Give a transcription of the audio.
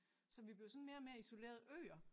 Så vi blev sådan mere og mere isolerede øer